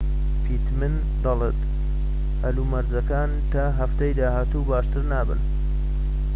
پیتمن دەڵێت هەلومەرجەکان تا هەفتەی داهاتوو باشتر نابن